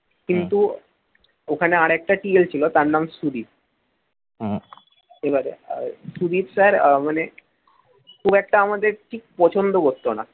ওখানে আর একটা TL ছিল তার নাম সুদীপ এবারে সুদীপ sir মানে খুব একটা আমাদের ঠিক পছন্দ করত না